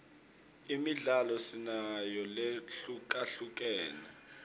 imidlalo sinayo lehlukahlukene